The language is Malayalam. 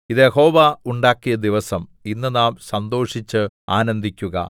ഇത് യഹോവ ഉണ്ടാക്കിയ ദിവസം ഇന്ന് നാം സന്തോഷിച്ച് ആനന്ദിക്കുക